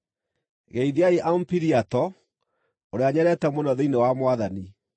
Geithiai Ampiliato, ũrĩa nyendete mũno thĩinĩ wa Mwathani.